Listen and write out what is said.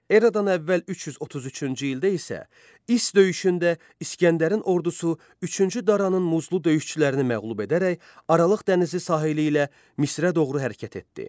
Eradan əvvəl 333-cü ildə isə İss döyüşündə İsgəndərin ordusu üçüncü Daranın muzlu döyüşçülərini məğlub edərək Aralıq dənizi sahili ilə Misrə doğru hərəkət etdi.